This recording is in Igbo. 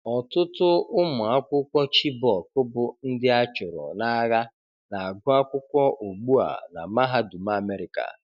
Ọtụtụ ụmụ akwụkwọ Chibok bụ ndị a chụrụ n'agha na-agụ akwụkwọ ugbu a na mahadum America